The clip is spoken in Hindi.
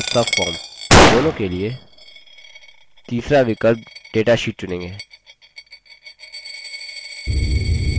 यहाँ हम दोनों के लिए form और subform के लिए तीसरा विकल्प datasheet चुनेंगे